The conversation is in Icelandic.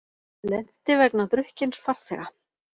Lenti vegna drukkins farþega